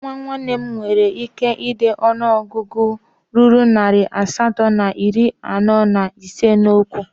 Nwa nwanne m nwere ike dee ọnụọgụ ruru narị asatọ na iri anọ na ise n'okwu